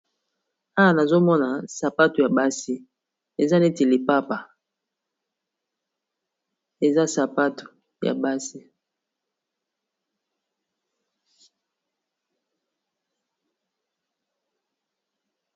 ana nazomona sapato ya basi eza neti lipapa eza sapato ya basi